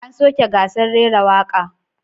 An soke gasar rera waka.